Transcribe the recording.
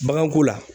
Baganko la